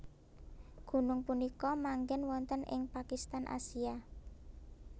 Gunung punika manggen wonten ing Pakistan Asia